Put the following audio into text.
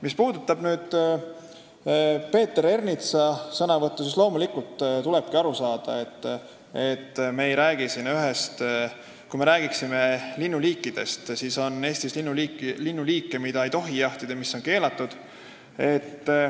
Mis puudutab Peeter Ernitsa sõnavõttu, siis tuleb aru saada, et Eestis on linnuliike, mida ei tohi jahtida, mille jaht on keelatud.